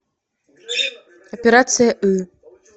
операция ы